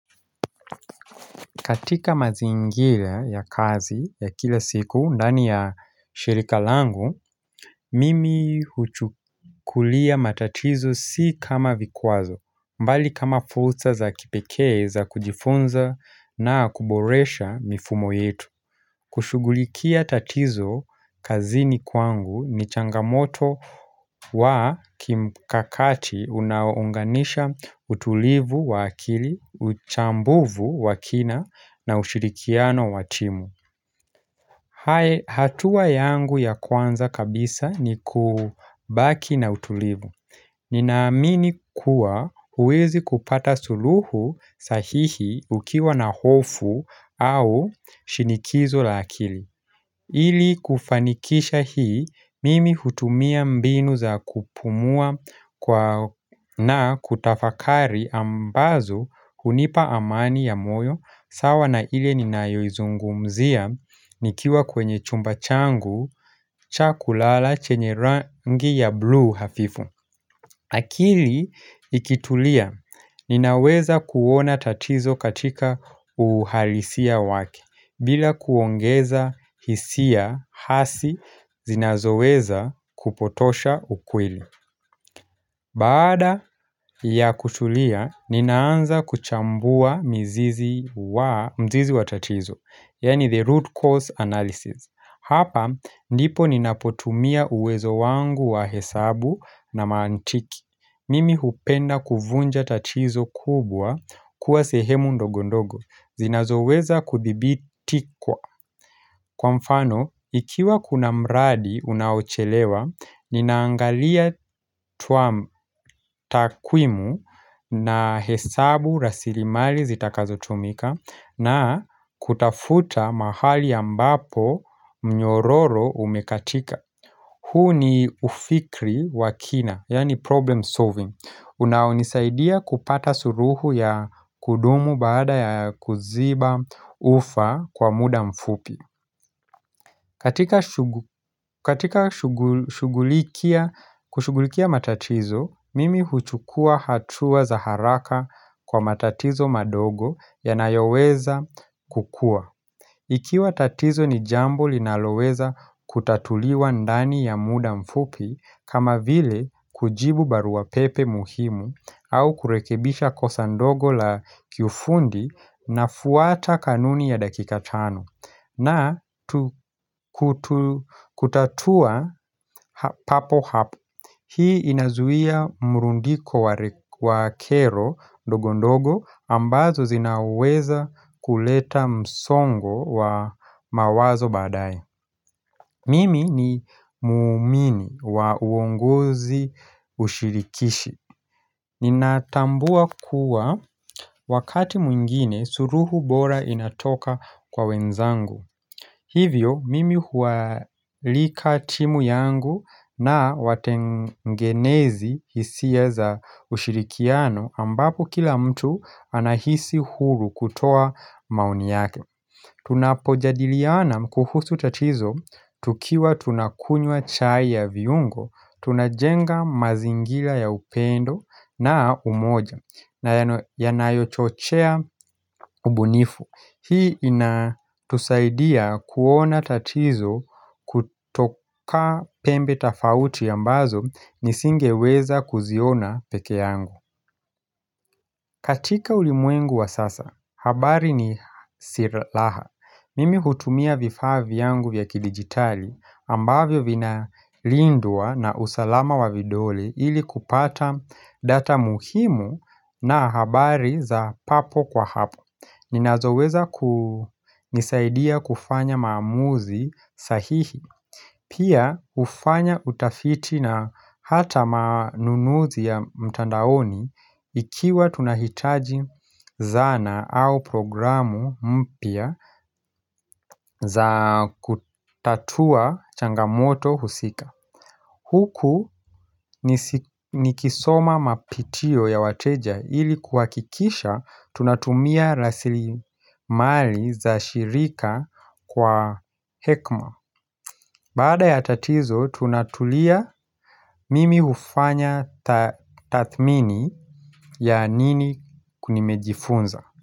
Katika mazingira ya kazi ya kila siku ndani ya shirika langu, mimi huchukulia matatizo si kama vikwazo, mbali kama fulsa za kipekee za kujifunza na kuboresha mifumo yetu. Kushugulikia tatizo kazini kwangu ni changamoto wa kimkakati unaounganisha utulivu wa akili, uchambuvu wa kina na ushirikiano wa timu hatua yangu ya kwanza kabisa ni kubaki na utulivu Ninaamini kuwa huwezi kupata suluhu sahihi ukiwa na hofu au shinikizo la akili ili kufanikisha hii, mimi hutumia mbinu za kupumua na kutafakari ambazo hunipa amani ya moyo, sawa na ile ninayoizungumzia, nikiwa kwenye chumba changu, cha kulala chenye rangi ya blue hafifu. Akili ikitulia, ninaweza kuona tatizo katika uhalisia wake, bila kuongeza hisia hasi zinazoweza kupotosha ukweli. Baada ya kutulia, ninaanza kuchambua mzizi wa tatizo, yani the root cause analysis. Hapa, ndipo ninapotumia uwezo wangu wa hesabu na mantiki. Mimi hupenda kuvunja tatizo kubwa kuwa sehemu ndogondogo zinazoweza kudhibiti kwa mfano, ikiwa kuna mradi unaochelewa Ninaangalia tuwa takwimu na hesabu rasilimali zitakazotumika na kutafuta mahali ambapo mnyororo umekatika Hu ni ufikri wa kina, yani problem solving unaonisaidia kupata suruhu ya kudumu baada ya kuziba ufa kwa muda mfupi katika kushugulikia matatizo, mimi huchukua hatua za haraka kwa matatizo madogo yanayoweza kukua Ikiwa tatizo ni jambo linaloweza kutatuliwa ndani ya muda mfupi kama vile kujibu baruwa pepe muhimu au kurekebisha kosa ndogo la kiufundi nafuata kanuni ya dakika tano. Na kutatua papo hapo Hii inazuia mrundiko wa kero ndogo ndogo ambazo zinaweza kuleta msongo wa mawazo badae Mimi ni muumini wa uongozi ushirikishi Ninatambua kuwa wakati mwingine suruhu bora inatoka kwa wenzangu Hivyo, mimi huwaalika timu yangu na watengenezi hisia za ushirikiano ambapo kila mtu anahisi huru kutoa maoni yake. Tunapojadiliana kuhusu tatizo, tukiwa tunakunywa chai ya viungo, tunajenga mazingira ya upendo na umoja na yanayochochea ubunifu. Hii inatusaidia kuona tatizo kutoka pembe tafauti ambazo nisingeweza kuziona peke yangu katika ulimwengu wa sasa, habari ni siraha Mimi hutumia vifaa vyangu vya kidigitali ambavyo vinalindwa na usalama wa vidole ili kupata data muhimu na habari za papo kwa hapo Ninazoweza kunisaidia kufanya maamuzi sahihi Pia hufanya utafiti na hata manunuzi ya mtandaoni Ikiwa tunahitaji zana au programu mpya za kutatua changamoto husika Huku nikisoma mapitio ya wateja ili kuhakikisha tunatumia rasilimali za shirika kwa hekma Baada ya tatizo tunatulia mimi hufanya tathmini ya nini nimejifunza.